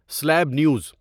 سلیب news